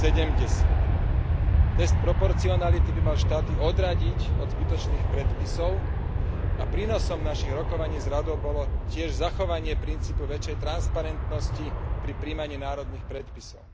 70. Test proporcionality by mal štáty odradiť od zbytočných predpisov a prínosom našich rokovaní s Radou bolo tiež zachovanie princípu väčšej transparentnosti pri prijímaní národných predpisov.